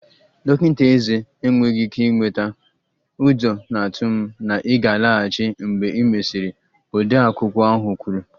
Dọkịta ezé enweghị ike ịnweta, ụjọ na-atụ m na ị ga-alaghachi mgbe e mesịrị, odeakwụkwọ ahụ kwuru